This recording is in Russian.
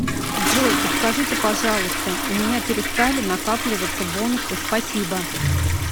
джой подскажите пожалуйста у меня перестали накапливаться бонусы спасибо